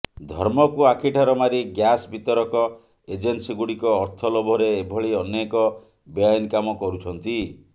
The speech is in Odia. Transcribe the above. ଧର୍ମକୁ ଆଖିଠାର ମାରି ଗ୍ୟାସ ବିତରକ ଏଜେନ୍ସିଗୁଡ଼ିକ ଅର୍ଥ ଲୋଭରେ ଏଭଳି ଅନେକ ବେଆଇନ କାମ କରୁଛନ୍ତି